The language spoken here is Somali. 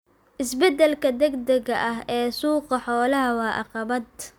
Isbeddelka degdega ah ee suuqa xoolaha waa caqabad.